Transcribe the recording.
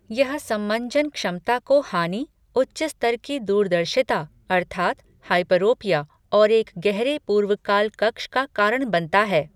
यह समंजन क्षमता को हानि, उच्च स्तर की दूरदर्शिता अर्थात् हाइपरोपिया और एक गहरे पूर्वकाल कक्ष का कारण बनता है।